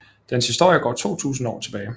Dens historie går 2000 år tilbage